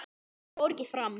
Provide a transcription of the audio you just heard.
Ég fór ekki fram.